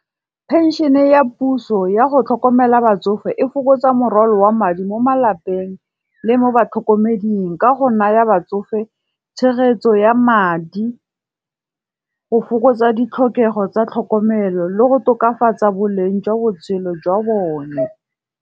Penšene ya puso ya go tlhokomela batsofe e fokotsa morwalo wa madi mo malapeng le mo batlhokomeding. Ka go naya batsofe tshegetso ya madi, go fokotsa ditlhokego tsa tlhokomelo le go tokafatsa boleng jwa botshelo jwa bone.